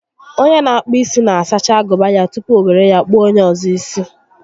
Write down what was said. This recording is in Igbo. Onye n'akpụ isi na-asacha agụba ya tupu o were ya kpụọ onyé ọzọ isi